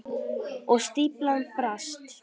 Og stíflan brast.